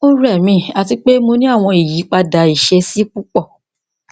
o rẹ mi ati pe mo ni awọn iyipada iṣesi pupọ